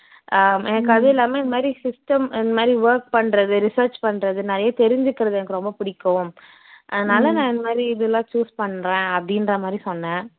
அஹ் எனக்கு அதுவும் இல்லாம இது மாதிரி system இது மாதிரி work பண்ணுறது research பண்ணுறது நிறைய தெரிஞ்சிக்கிறது எனக்கு ரொம்ப பிடிக்கும் அதனால நான் இந்த மாதிரி இதெல்லாம் choose பண்ணுறேன் அப்படின்ற மாதிரி சொன்னேன்